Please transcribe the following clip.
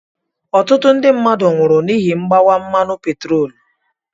Ọtụtụ ndị mmadụ nwụrụ n'ihi mgbawa mmanụ petroolu.